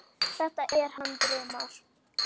Þetta er hann Brimar.